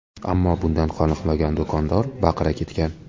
Ammo bundan qoniqmagan do‘kondor baqira ketgan.